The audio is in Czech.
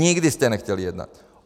Nikdy jste nechtěli jednat.